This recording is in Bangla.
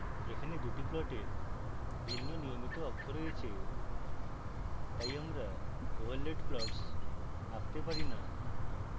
এখানে দুটি প্লটের ভিন্ন নিয়মিত অক্ষ রয়েছে তাই আমরা overlaid plots আঁকতে পারি না